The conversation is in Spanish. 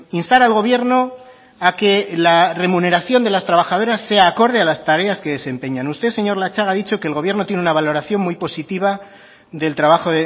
instar al gobierno a que la remuneración de las trabajadoras sea acorde a las tareas que desempeñan usted señor latxaga ha dicho que el gobierno tiene una valoración muy positiva del trabajo